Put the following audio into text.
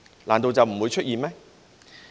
難道就不會出現嗎？